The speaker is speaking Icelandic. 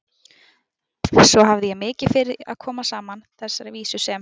Svo hafði ég mikið fyrir að koma saman þessari vísu sem